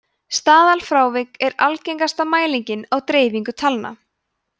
staðalfrávik er algengasta mæling á dreifingu talna